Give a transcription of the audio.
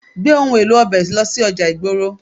Gbé òhun èlò ọbẹ̀ lọ sí ọjà ìgboro.